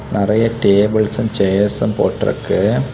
நெறைய டேபிள்ஸ்சும் ஷேர்ஸ்சும் போட்ருக்கு.